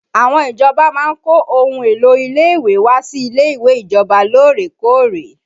Àwọn ìjọba máa ń kó ohun èlò ilé ìwé wá sí ilé ìwé ìjọba lórèkóòrè